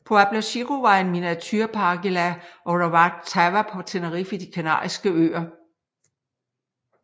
Pueblo Chico var en miniaturepark i La Orotava på Tenerife i De kanariske øer